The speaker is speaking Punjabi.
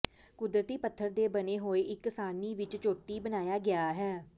ਕੁਦਰਤੀ ਪੱਥਰ ਦੇ ਬਣੇ ਹੋਏ ਇੱਕ ਸਾਰਣੀ ਵਿੱਚ ਚੋਟੀ ਬਣਾਇਆ ਗਿਆ ਹੈ